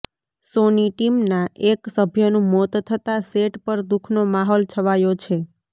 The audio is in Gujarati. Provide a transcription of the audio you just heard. શોની ટીમના એક સભ્યનું મોત થતાં સેટ પર દુઃખનો માહોલ છવાયો છે